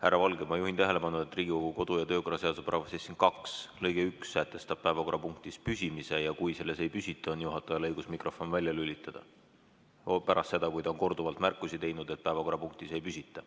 Härra Valge, ma juhin tähelepanu, et Riigikogu kodu‑ ja töökorra seaduse § 72 lõige 1 sätestab päevakorrapunktis püsimise ja kui selles ei püsita, on juhatajal õigus mikrofon välja lülitada, pärast seda, kui ta on korduvalt märkusi teinud, et päevakorrapunktis ei püsita.